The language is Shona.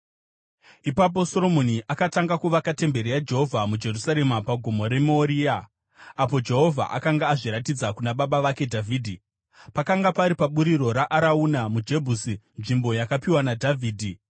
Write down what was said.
Ipapo Soromoni akatanga kuvaka temberi yaJehovha muJerusarema pagomo reMoria, apo Jehovha akanga azviratidza kuna baba vake Dhavhidhi. Pakanga pari paburiro raArauna muJebhusi, nzvimbo yakapiwa naDhavhidhi.